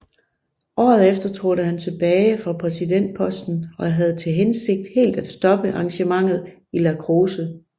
Året efter trådte han tilbage fra præsidentposten og havde til hensigt helt at stoppe engagementet i lacrosse